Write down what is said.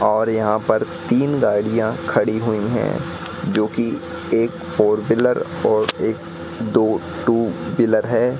और यहां पर तीन गाड़ियां खड़ी हुई हैं जोकि एक फोर व्हीलर और एक दो टू व्हीलर है।